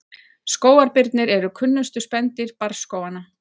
skógarbirnir eru kunnustu spendýr barrskóganna